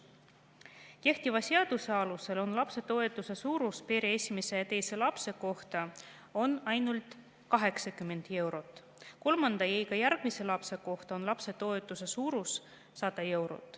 Kehtiva seaduse alusel on lapsetoetuse suurus pere esimese ja teise lapse kohta ainult 80 eurot, kolmanda ja iga järgmise lapse kohta on lapsetoetuse suurus 100 eurot.